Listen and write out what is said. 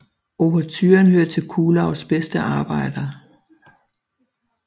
Ouverturen hører til Kuhlaus bedste arbejder